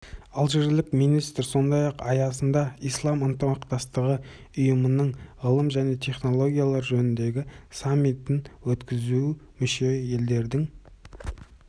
алжирлік министр сондай-ақ аясында ислам ынтымақтастығы ұйымының ғылым және технологиялар жөніндегі саммитін өткізу мүше елдердің